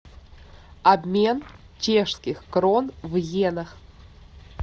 обмен чешских крон в йенах